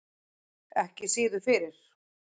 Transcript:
Ekki síður fyrir